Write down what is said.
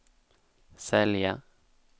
sälja